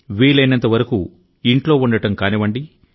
వీలైనంతవరకు ఇంట్లో ఉండడం కానివ్వండి